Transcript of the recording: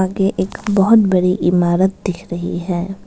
ये एक बहुत बड़ी इमारत दिख रही है।